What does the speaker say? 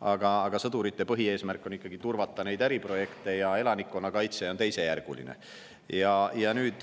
aga sõdurite põhieesmärk on ikkagi turvata äriprojekte ja elanikkonnakaitse on teisejärguline.